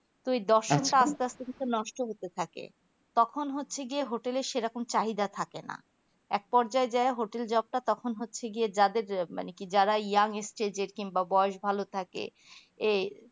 তো এই টা আস্তে আস্তে কিন্তু নষ্ট হতে থাকে তখন হচ্ছে গিয়ে hotel এ সেইরকম চাঁদিয়া থাকে না একপর্যায় যাই hotel job টা তখন হচ্ছে গিয়ে যাদের মানে কি যারা ইয়ং stage কিংবা বয়োস ভালো থাকে এই